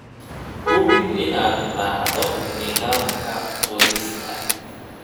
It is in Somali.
Hubi inaad raacdo nidaamka qorista.